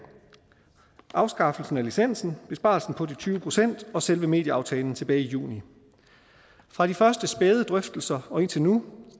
afskaffelsen af licensen besparelsen på de tyve procent og selve medieaftalen tilbage i juni fra de første spæde drøftelser og indtil nu